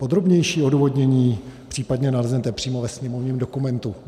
Podrobnější odůvodnění případně naleznete přímo ve sněmovním dokumentu.